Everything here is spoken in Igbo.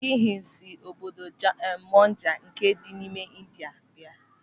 Sikhism si n'obodo Punjab nke dị m'India bịa.